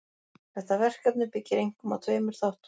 Þetta verkefni byggir einkum á tveimur þáttum.